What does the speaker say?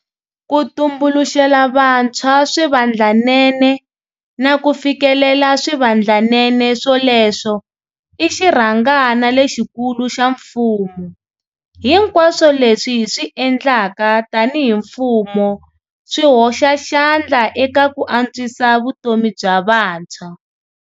Ku tumbuluxela vantshwa swivandlanene, na ku fikelela swivandlanene swoleswo, i xirhangana lexikulu xa mfumo. Hinkwaswo leswi hi swi endlaka tanihi mfumo swi hoxa xandla eka ku antswisa vutomi bya vantshwa.